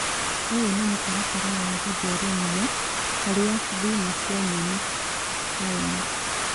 ũyũ nĩ mũtaratara wa gũtheremia harĩa thuna cia nyeni (Scion)